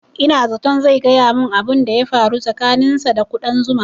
Ina zaton zai gaya mun abun da ya faru tsakanin sa da ƙudan zuma